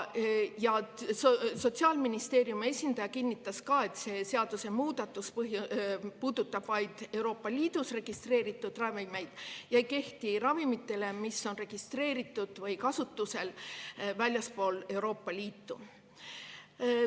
Sotsiaalministeeriumi esindaja kinnitas ka, et see seadusemuudatus puudutab vaid Euroopa Liidus registreeritud ravimeid ja ei kehti ravimite kohta, mis on registreeritud või kasutusel väljaspool Euroopa Liitu.